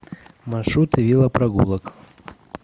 маршруты велопрогулок